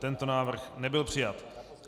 Tento návrh nebyl přijat.